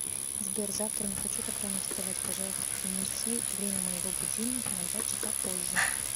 сбер завтра не хочу так рано вставать пожалуйста перенеси время моего будильника на два часа позже